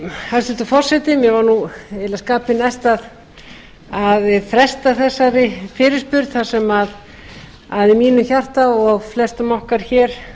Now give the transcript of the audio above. hæstvirtur forseti mér var eiginlega skapi næst að fresta þessari fyrirspurn þar sem í mínu hjarta og flestra okkar hér